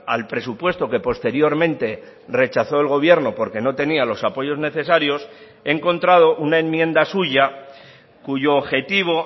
al presupuesto que posteriormente rechazó el gobierno porque no tenía los apoyos necesarios he encontrado una enmienda suya cuyo objetivo